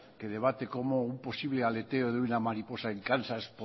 que debate cómo un posible aleteo de una mariposa en kansas